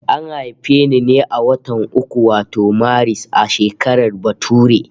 An haife ni a watan uku wato Maris, a shekarar bature